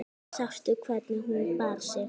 Sástu hvernig hún bar sig.